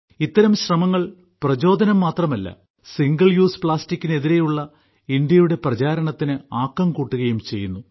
ഇത്തരം ശ്രമങ്ങൾ പ്രചോദനം മാത്രമല്ല ഒറ്റ തവണ ഉപയോഗിക്കാവുന്ന പ്ലാസ്റ്റിക്കിന് എതിരെയുള്ള ഇന്ത്യയുടെ പ്രചാരണത്തിന് ആക്കം കൂട്ടുകയും ചെയ്യുന്നു